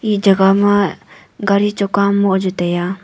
e jagah ma gari choka am moh jao tai a.